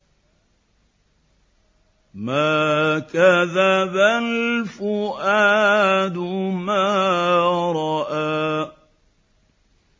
مَا كَذَبَ الْفُؤَادُ مَا رَأَىٰ